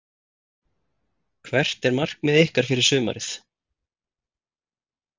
Hvert er markmið ykkar fyrir sumarið?